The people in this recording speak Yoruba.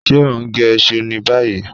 Ṣe o n ge iṣu ni bayi?